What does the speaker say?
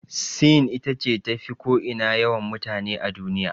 Sin ita ce tafi ko ina yawan mutane a duniya.